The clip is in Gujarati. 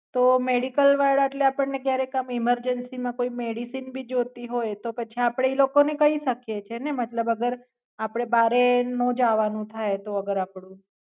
તો Medical વાળા એટલે આપણને ક્યારેક આમ emergency માં કોઈ મેડીકલ ભી જોતી હોય તો પછી આપડે ઈ લોકો ને કહી શકીયે છે ને મતલબ અગર આપડે બારે નો જવાનું થાય તો અગર આપડે